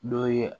Dɔ ye